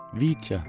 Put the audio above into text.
Vitya.